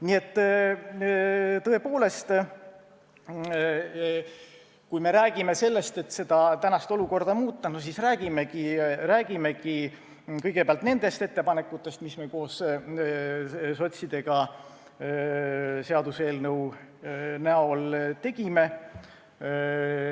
Nii et tõepoolest, kui me räägime sellest, et tänast olukorda tuleb muuta, siis palun räägime kõigepealt nendest ettepanekutest, mis me koos sotsidega seaduseelnõu näol tegime.